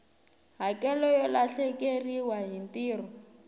hakelo yo lahlekeriwa hi ntirho